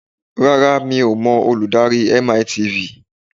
Rárá mi ò mọ olùdarí MiTV